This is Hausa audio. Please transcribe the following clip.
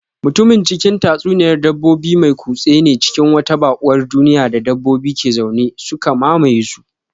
Mutumin cikin tatsuniyar dabbobin mai kutse ne cikin wata baƙuwar duniya da dabbobi ke zaune, suka mamaye su.